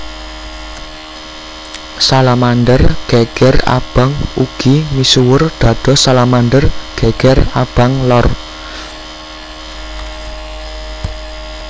Salamander geger abang ugi misuwur dados Salamander geger abang lor